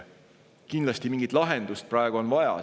Kindlasti on mingit lahendust praegu vaja.